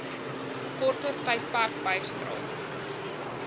korter tydperk bygedra